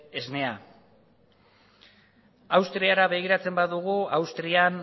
esnea austriara begiratzen badugu austrian